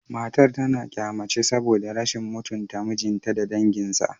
Matar tana kyama ce saboda rashin mutunta mijinta da danginsa